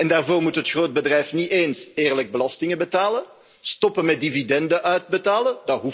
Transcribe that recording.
Daarvoor moet het grootbedrijf niet eens eerlijk belasting betalen of stoppen met dividenden uit te keren.